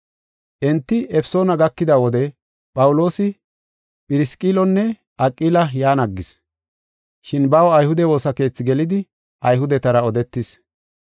Enti Efesoona gakida wode Phawuloosi Phirisqillonne Aqila yan aggis. Shin baw ayhude woosa keethi gelidi Ayhudetara odetis.